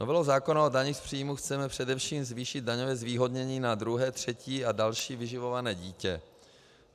Novelou zákona o daních z příjmů chceme především zvýšit daňové zvýhodnění na druhé, třetí a další vyživované dítě.